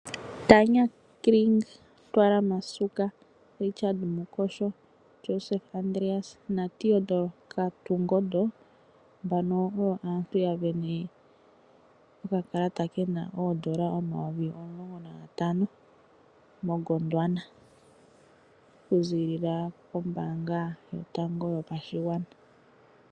Tanya Kring, Ntwara Masuka, Richard Mukosho, Joseph Andreas na Theodore Kotungondo, mbano oyo aantu ya sindana okakalata kena oondola omayovi omulongo na gatano moGondwana, okuzilila kombaanga yotango yopashigwana.